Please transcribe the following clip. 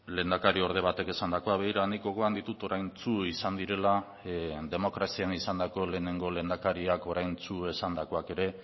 lehendakariorde batek esandakoa begira nik gogoan ditut oraintsu izan direla demokrazian izandako lehenengo lehendakariak oraintsu esandakoak ere